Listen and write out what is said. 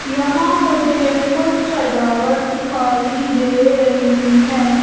यहां मुझे कुछ सजावट दिखाई दे रही है।